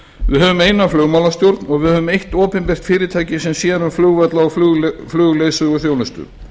við höfum eina flugmálastjórn og við höfum eitt opinbert fyrirtæki sem sér um flugvalla og flugleiðsöguþjónustu